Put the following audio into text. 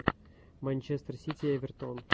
манчестер сити эвертон